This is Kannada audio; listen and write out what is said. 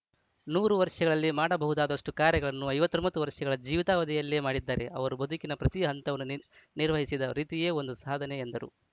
ನೂರು ವರ್ಷಗಳಲ್ಲಿ ಮಾಡಬಹುದಾದಷ್ಟು ಕಾರ್ಯಗಳನ್ನು ಐವತ್ರೋಮ್ ತ್ತು ವರ್ಸೆಗಳ ಜೀವಿತಾವಧಿಯಲ್ಲೇ ಮಾಡಿದ್ದಾರೆ ಅವರು ಬದುಕಿನ ಪ್ರತಿ ಹಂತವನ್ನು ನಿ ನಿರ್ವಹಿಸಿದ ರೀತಿಯೇ ಒಂದು ಸಾಧನೆ ಎಂದರು